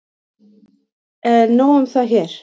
En nóg um það hér.